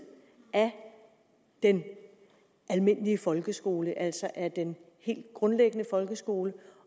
af den almindelige folkeskole altså af den helt grundlæggende folkeskole